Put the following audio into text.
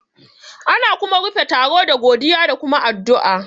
Ana kuma rufe taro da godiya da kuma addu'a